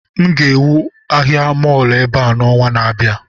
M ga-ewu ahịa mọọlụ ebe a n'ọnwa na-abịa